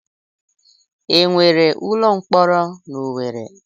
E nwere ụlọ mkpọrọ n'Owere?